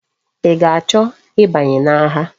I ga-acho i banye na agha?